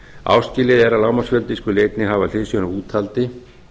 áskilið er að lágmarksfjöldi skuli einnig hafa hliðsjón af úthaldi